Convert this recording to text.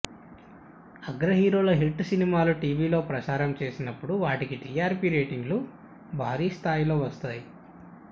అగ్రహీరోల hit సినిమాలు టీవీలో ప్రసారం చేసినప్పుడు వాటికి టీఆర్పీ రేటింగులు భారీ స్థాయిలో వస్తాయి